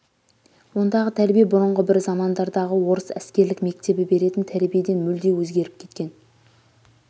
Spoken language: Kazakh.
ондағы тәрбие бұрынғы бір замандардағы орыс әскерлік мектебі беретін тәрбиеден мүлде өзгеріп кеткен